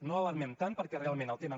no alarmem tant perquè realment al tema